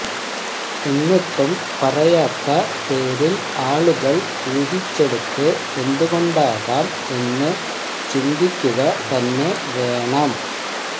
എന്നിട്ടും പറയാത്ത പേരിൽ ആളുകൾ ഊഹിച്ചെടുത്തത് എന്തുകൊണ്ടാകാം എന്ന് ചിന്തിക്കുകതന്നെ വേണം